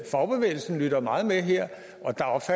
fagbevægelsen lytter meget med her